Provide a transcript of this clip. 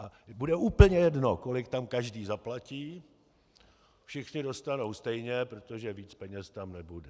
A bude úplně jedno, kolik tam každý zaplatí, všichni dostanou stejně, protože víc peněz tam nebude.